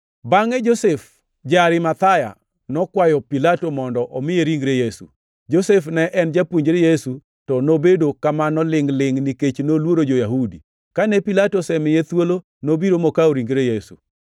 Bangʼe Josef ja-Arimathaya nokwayo Pilato mondo omiye ringre Yesu. Josef ne en japuonjre Yesu to nobedo kamano lingʼ-lingʼ nikech noluoro jo-Yahudi. Kane Pilato osemiye thuolo, nobiro mokawo ringre Yesu.